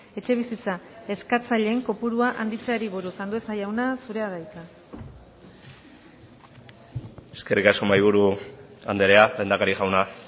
etxebizitza eskatzaileen kopurua handitzeari buruz andueza jauna zurea da hitza eskerrik asko mahaiburu andrea lehendakari jauna